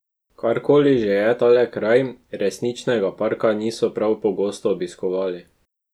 Karkoli že je tale kraj, resničnega parka niso prav pogosto obiskovali.